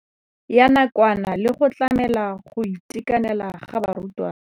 Ya nakwana le go tlamela go itekanela ga barutwana.